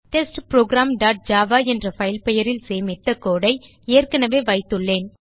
test program dot Java என்ற file பெயரில் சேமித்த கோடு ஐ ஏற்கனவே வைத்துள்ளேன்